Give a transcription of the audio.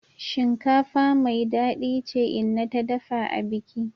Shinkafa mai dadi ce inna ta dafa abiki.